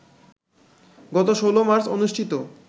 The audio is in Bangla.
গত ১৬ মার্চ অনুষ্ঠিত